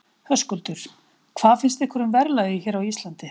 Höskuldur: Hvað finnst ykkur um verðlagið hér á Íslandi?